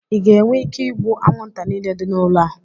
ị ga-enwe ike ịgbu anwụnta niile dị n'ụlọ a?